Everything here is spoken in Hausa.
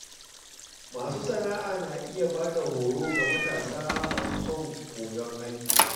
Masu sana’a na iya ba da horo ga matasa masu son koyon aiki.